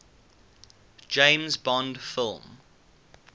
james bond film